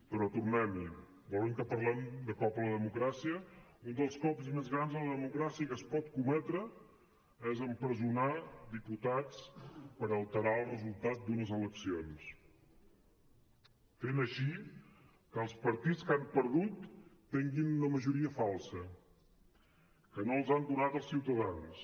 però tornem hi volen que parlem de cop a la democràcia un dels cops més grans a la democràcia que es pot cometre és empresonar diputats per alterar el resultat d’unes eleccions i fer així que els partits que han perdut tenguin una majoria falsa que no els han donat els ciutadans